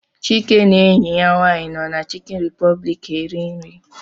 Chike na enyi ya nwaanyị nọ na Chicken Republic eri nri.